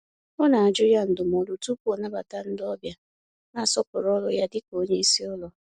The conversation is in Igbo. Ọ na-ajụ ya ndụmọdụ tupu ọ nabata ndị ọbịa, na-asọpụrụ ọrụ ya dịka onye isi ụlọ.